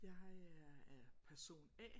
Jeg er er person A